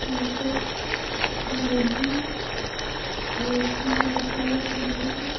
यहाँ पे मैगी और भी बहुत सारे समान हैं।